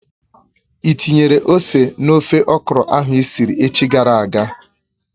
Ị tinyere ose n'ofe okro ahụ isiri echi gara aga?